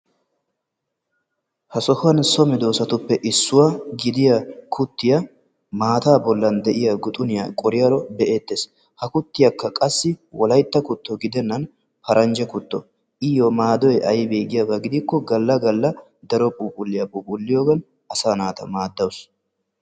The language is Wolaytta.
ha sohuwan so medoosatuppe issuwa ashuwaa miida naa"u yelaga naati issisan eqqidaageeti beettoosona. ha naatikka maayido maayuwa meray zo"onne karettanne adil"e mera. ha maayoykka eti wolaytta gidiyoogaa wolayttatettaa qonccissiyaga.